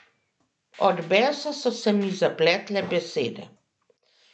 Od besa so se mi zapletle besede.